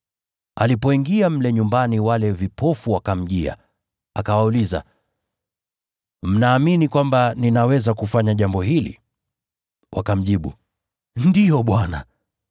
Alipoingia mle nyumbani wale vipofu wakamjia. Naye Yesu akawauliza, “Mnaamini kwamba ninaweza kufanya jambo hili?” Wakamjibu, “Ndiyo, Bwana.”